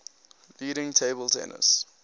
leading table tennis